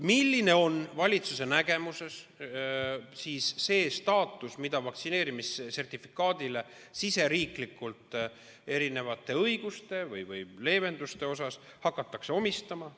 Milline on valitsuse nägemuses see staatus, mis vaktsineerimissertifikaadile riigisiseselt erinevate õiguste või leevenduste osas omistatakse?